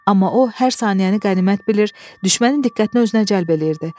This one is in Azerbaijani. Amma o, hər saniyəni qənimət bilir, düşmənin diqqətini özünə cəlb edirdi.